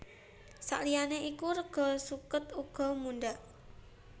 Saliyané iku rega suket uga mundhak